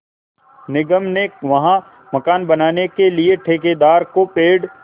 निगम ने वहाँ मकान बनाने के लिए ठेकेदार को पेड़